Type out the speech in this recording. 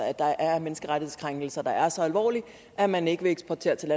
at der er menneskerettighedskrænkelser der er så alvorlige at man ikke vil eksportere til